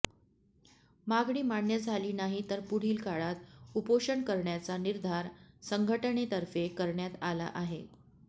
मागणी मान्य झाली नाही तर पुढील काळात उपोषण करण्याचा निर्धार संघटनेतर्फे करण्यात आला आहे